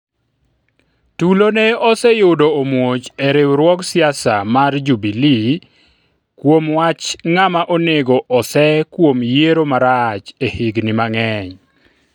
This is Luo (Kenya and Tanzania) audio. tulo ne oseyudo omuoch e riwruog siasa mar Jubilee kuom wach ng'ama onego osee kuom yiero marach e higni mang'eny